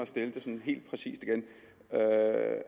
stille det helt præcist igen